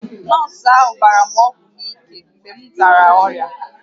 Nọọsụ ahụ gbara m ọgwụ n’ike mgbe m dara ọrịa